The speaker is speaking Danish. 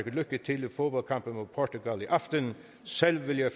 lykke til i fodboldkampen mod portugal i aften selv vil jeg